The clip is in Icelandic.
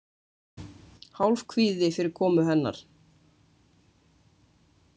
Hálfkvíði fyrir komu hennar.